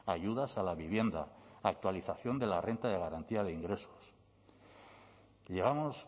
ayudas a la vivienda actualización de la renta de garantía de ingresos llevamos